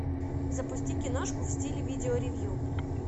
запусти киношку в стиле видео ревью